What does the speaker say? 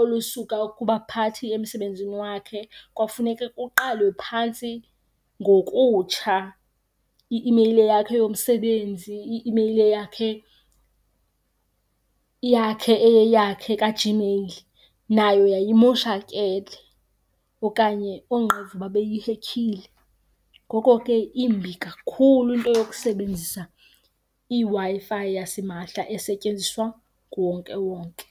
olusuka kubaphathi emsebenzini wakhe. Kwafuneke kuqalwe phantsi ngokutsha i-imeyile yakhe yomsebenzi, i-imeyile yakhe, yakhe eyeyakhe kaGmail nayo yayimoshakele okanye oonqevu babeyihekhile. Ngoko ke imbi kakhulu into yokusebenzisa iWi-Fi yasimahla esetyenziswa nguwonkewonke.